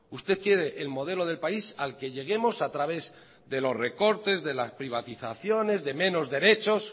usted quiere el modelo del país al que lleguemos a través de los recortes de las privatizaciones de menos derechos